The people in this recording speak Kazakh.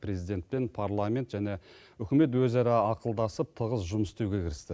президент пен парламент және үкімет өзара ақылдасып тығыз жұмыс істеуге кірісті